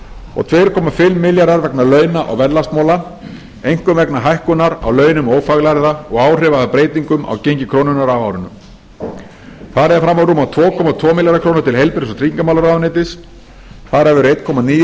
og tvö komma fimm milljarðar vegna launa og verðlagsmála einkum vegna hækkunar á launum ófaglærðra og áhrifa af breytingum á gengi krónunnar á árinu farið er fram á rúma tvo komma tvo milljarða króna til heilbrigðis og tryggingamálaráðuneytis þar af eru eitt komma níu